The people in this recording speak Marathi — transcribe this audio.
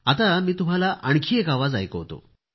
आता मी तुम्हाला आणखी एक आवाज ऐकवतो